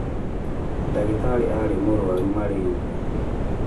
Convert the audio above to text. Ndagĩtarĩ arĩ mũrwaru mararia